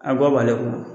A bɔ b'ale kun